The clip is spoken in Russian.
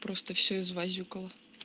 просто все извазюкала